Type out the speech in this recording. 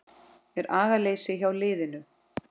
Er agaleysi hjá liðinu?